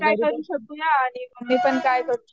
करू शकूया आणि